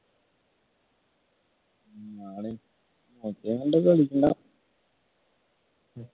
മറ്റേ കൊണ്ട്